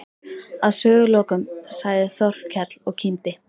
Að sögulokum sagði Þórkell og kímdi